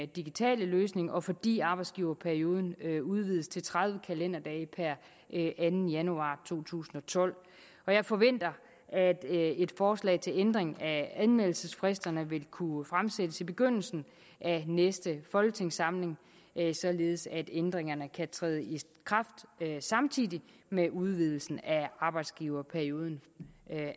digitale løsning og fordi arbejdsgiverperioden udvides til tredive kalenderdage per anden januar to tusind og tolv jeg forventer at et forslag til ændring af anmeldelsesfristerne vil kunne fremsættes i begyndelsen af næste folketingssamling således at ændringerne kan træde i kraft samtidig med udvidelsen af arbejdsgiverperioden